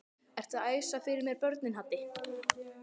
Ertu að æsa fyrir mér börnin Haddi!